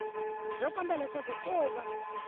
byo komba leswaku ko va